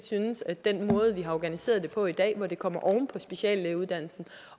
synes at den måde vi har organiseret det på i dag hvor det kommer oven på speciallægeuddannelsen